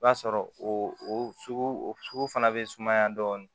I b'a sɔrɔ o sugu o sugu fana bɛ sumaya dɔɔnin